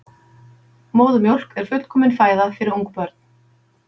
Móðurmjólk er fullkomin fæða fyrir ungbörn.